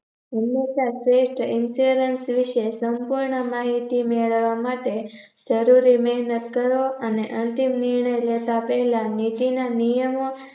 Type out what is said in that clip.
હંમેશ શ્રેષ્ઠ insurance વિષે સંપૂર્ણ માહિતી મેળવા માટે જરૂરી મેહનત કરો અને અંતિમ નિર્ણય લેતા પહેલા નીતિના નિયમો